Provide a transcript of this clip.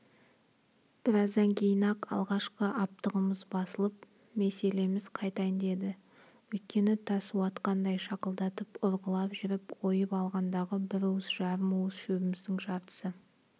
біраздан кейін-ақ алғашқы аптығымыз басылып меселіміз қайтайын деді өйткені тас уатқандай шақылдатып ұрғылап жүріп ойып алғандағы бір уыс жарым уыс шөбіміздің жартысы